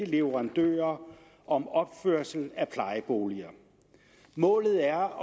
leverandører om opførelse af plejeboliger målet er